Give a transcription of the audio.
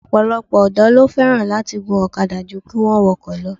Ọ̀pọ̀lọpọ̀ ọ̀dọ́ ló fẹ́ràn láti gun ọ̀kadà jú kí wọ́n wọkọ̀ lọ